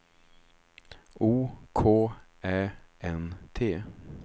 O K Ä N T